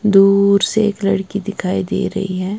दूर से एक लड़की दिखाई दे रहीं हैं।